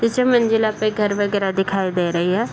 तीसरे मंजिला पे घर वगेरा दिखाई दे रही है |